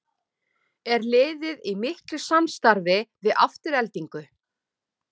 Er liðið í miklu samstarfi við Aftureldingu?